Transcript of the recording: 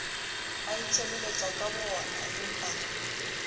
a itshebeletsang ka bo oonaempa